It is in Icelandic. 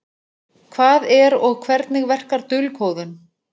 Hvað er og hvernig verkar dulkóðun?